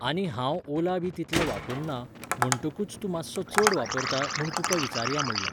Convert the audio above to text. आनी हांव ओला बी तितले वापरना, म्हणटकूच तूं मातसो चड वापरता म्हूण तुका विचारया म्हणलें.